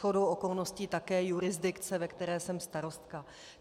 Shodou okolností také jurisdikce, ve které jsem starostka.